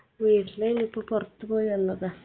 വീട്ടിലെര്ന്നു ഇപ്പൊ പൊറത്ത് പോയി വന്നതാ